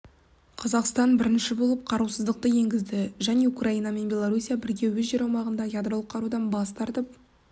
қазақстан бірінші боп қарусыздықты енгізді және украина мен беларуссия бірге өз жер аумағында ядролық қарудан бастартып